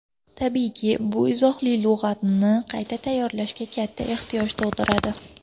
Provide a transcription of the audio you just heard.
Tabiiyki, bu izohli lug‘atni qayta tayyorlashga katta ehtiyoj tug‘diradi.